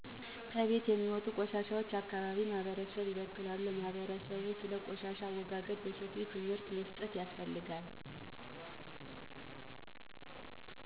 ከቤት የሚወጡ ቆሻሾች አካባቢን ማህበረሰብን ይበክላሉ ለማህበረሰብ ስለ ቆሻሻ አወጋገድ በሰፊው ትምህርት መስጠት ያስፈልጋል